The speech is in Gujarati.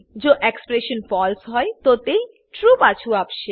જો એક્સપ્રેશન ફળસે હોય તો તે ટ્રૂ પાછુ આપશે